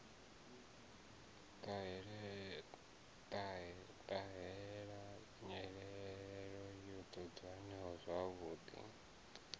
ṱahela nyelelo yo dzudzanyiwaho zwavhuḓi